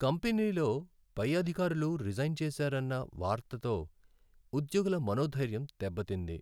కంపెనీలో పై అధికారులు రిజైన్ చేసారన్న వార్తతో ఉద్యోగుల మనోధైర్యం దెబ్బతింది.